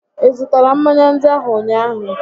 Ị zụtara mmanya ndị ahụ ụnyaahụ?